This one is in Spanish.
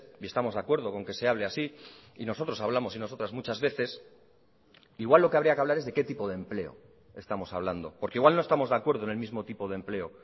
y estamos de acuerdo con que se hable así y nosotros hablamos y nosotras muchas veces igual lo que habría que hablar es de qué tipo de empleo estamos hablando porque igual no estamos de acuerdo en el mismo tipo de empleo